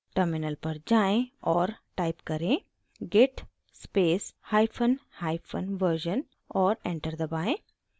terminal पर जाएँ और type करें: git space hyphen hyphen version और enter दबाएँ